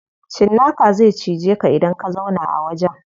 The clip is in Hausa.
Cinnaka zai cije ka idan ka zauna a wajen.